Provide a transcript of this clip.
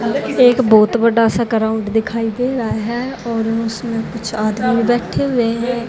एक बहोत बड़ा सा ग्राउंड दिखाई दे रहा है और उसमें कुछ आदमी बैठे हुए हैं।